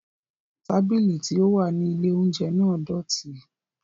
Tábìlì tí ó wà ní ilè óúnjẹ náà dọ̀tí